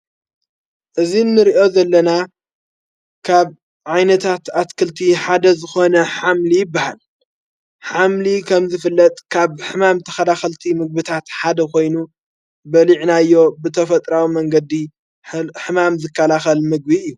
እዝ ንርእኦ ዘለና ካብ ዓይነታት ኣትክልቲ ሓደ ዝኾነ ኃምሊ ይበሃል ኃምሊ ከም ዝፍለጥ ካብ ሕማም ተኸላኽልቲ ምግብታት ሓደ ኾይኑ በሊዕናዮ ብተፈጥራዊ መንገዲ ሕማም ዝካላኸል ምግቢ እዩ።